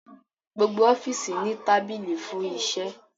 Gbogbo ọfiisi ni tabili fun iṣẹ